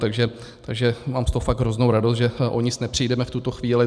Takže mám z toho fakt hroznou radost, že o nic nepřijdeme v tuto chvíli.